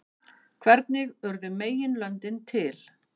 Hvernig urðu meginlöndin til?